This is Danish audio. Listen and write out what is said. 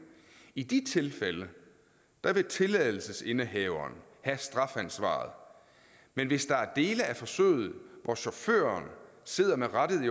i de tilfælde vil tilladelsesindehaveren have strafansvaret men hvis der er dele af forsøget hvor chaufføren sidder med rattet i